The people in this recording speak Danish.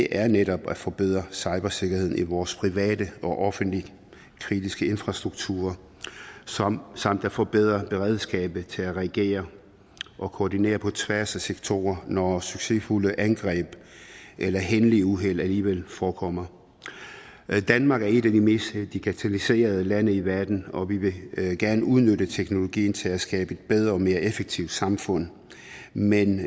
er netop at forbedre cybersikkerheden i vores private og offentlige kritiske infrastrukturer samt samt at forbedre beredskabet til at reagere og koordinere på tværs af sektorer når succesfulde angreb eller hændelige uheld alligevel forekommer danmark er et af de mest digitaliserede lande i verden og vi vi vil gerne udnytte teknologien til at skabe et bedre og mere effektivt samfund men